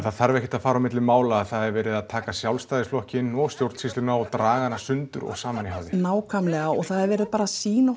það þarf ekkert að fara á milli mála að það er verið að taka Sjálfstæðisflokkinn og stjórnsýsluna og draga hana sundur og saman í háði nákvæmlega og það er verið að sýna